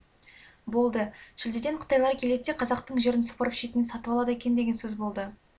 болды шілдеден қытайлар келеді де қазақтың жерін сыпырып шетінен сатып алады екен деген сөз болды